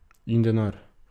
In denar.